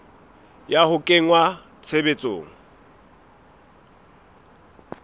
ya ho a kenya tshebetsong